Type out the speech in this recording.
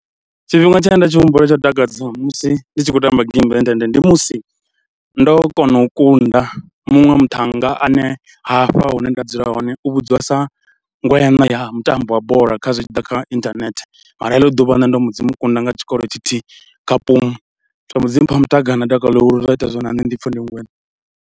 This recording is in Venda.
Tshifhinga tshe nda tshi humbula tsho takadza musi ndi tshi khou tamba geimi ya inthanethe ndi musi ndo kona u kunda muṅwe muthannga ane hafha hune nda dzula hone u vhudziwa sa ngwṋa ya na ya mutambo wa bola kha zwi tshi ḓa kha inthanethe, mara heḽo ḓuvha nṋe ndo mbo dzi mu kunda nga tshikoro tshithihi kha zwa mbo ḓimpha muṱakalo na dakalo ḽihulu zwa ita zwo ri na nṋe ndi pfhe ndi ngweṋa.